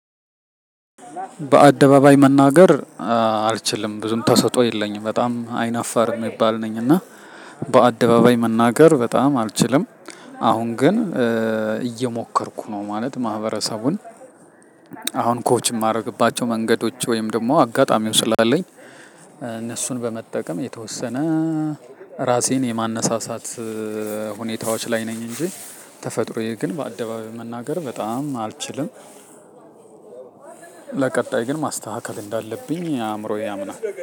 በአደባባይ መናገር አልችልም ብዙም ተሰጥኦ የለኝም በጣም አይናፋር ሚባል ነኝ እና በአደባባይ መናገር በጣም አልችልም። አሁን ግን እየሞከርኩ ነው ማለት ማህበረሰቡን አሁን ኮች ማረግባቸው መንገዶች ወይም ደሞ አጋጣሚው ስላለኝ። እነሱን በመጠቀም የተወሰነ ራሴን የማነሳሳት ሁኔታዎች ላይ ነኝ እንጂ ተፈጥሮዬ ግን በአደባባይ መናገር በጣም አልችልም። ለቀጣይ ግን ማስተካከል እንዳለብኝ አምሮዬ ያምናል